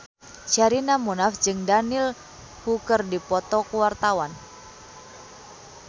Sherina Munaf jeung Daniel Wu keur dipoto ku wartawan